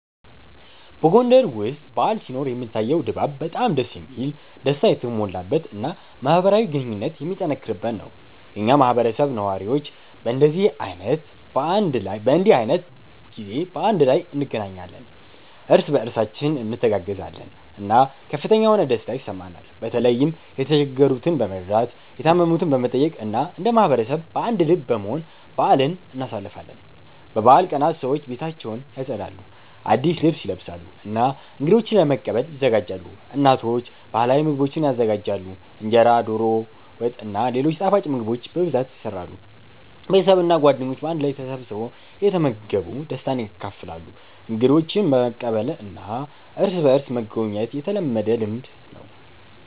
በጎንደር ውስጥ በዓል ሲኖር የሚታየው ድባብ በጣም ደስ የሚል፣ ደስታ የተሞላበት እና ማህበራዊ ግንኙነት የሚጠነክርበት ነው። የኛ ማህበረሰብ ነዋሪዎች በእንዲህ ዓይነት ጊዜ በአንድ ላይ እንገናኛለን፣ እርስ በእርሳችን እንተጋገዛለን እና ከፍተኛ የሆነ ደስታ ይሰማናል። በተለይም የተቸገሩትን በመርዳት፣ የታመሙትን በመጠየቅ እና እንደ ማህበረሰብ በአንድ ልብ በመሆን በአልን እናሳልፋለን። በበዓል ቀናት ሰዎች ቤታቸውን ያጸዳሉ፣ አዲስ ልብስ ይለብሳሉ እና እንገዶችን ለመቀበል ይዘጋጃሉ። እናቶች ባህላዊ ምግቦችን ይዘጋጃሉ፣ እንጀራ፣ ዶሮ ወጥ እና ሌሎች ጣፋጭ ምግቦች በብዛት ይሰራሉ። ቤተሰብ እና ጓደኞች በአንድ ቤት ተሰብስበው እየተመገቡ ደስታን ያካፍላሉ። እንግዶችን መቀበልና እርስ በእርስ መጎብኘት የተለመደ ልምድ ነው።